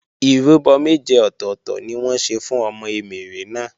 Ìrúbọ méje ọ̀tọ̀tọ̀ ni wọ́n ṣe fún ọmọ Emèrè náà